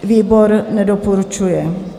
Výbor nedoporučuje.